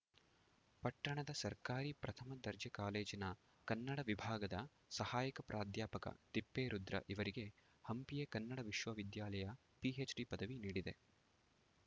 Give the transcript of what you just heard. ಪಟ್ಟಣದ ಸರ್ಕಾರಿ ಪ್ರಥಮ ದರ್ಜೆ ಕಾಲೇಜಿನ ಕನ್ನಡ ವಿಭಾಗದ ಸಹಾಯಕ ಪ್ರಾಧ್ಯಾಪಕ ತಿಪ್ಪೇರುದ್ರ ಇವರಿಗೆ ಹಂಪಿಯ ಕನ್ನಡ ವಿಶ್ವವಿದ್ಯಾಲಯ ಪಿಎಚ್‌ಡಿ ಪದವಿ ನೀಡಿದೆ